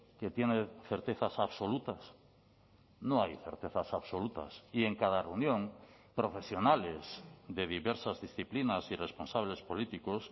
que tiene certezas absolutas no hay certezas absolutas y en cada reunión profesionales de diversas disciplinas y responsables políticos